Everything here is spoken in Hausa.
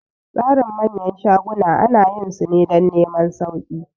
Tsarin manyan shaguna ana yin su ne dan neman sauki